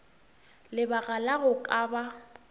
lebaka la go ka ba